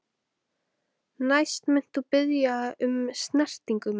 Næst munt þú biðja um snertingu mína.